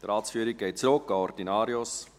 Die Ratsführung geht zurück an den Ordinarius.